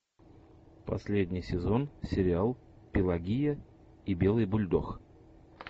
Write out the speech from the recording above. последний сезон сериал пелагея и белый бульдог